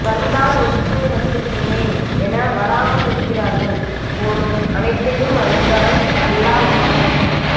வந்தால் ஒற்றுமை வந்துவிடுமே என வராமல் இருக்கிறார்கள் போலும் அனைத்தையும் அறிந்தவன் அல்லா ஒருவனே